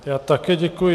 Já také děkuji.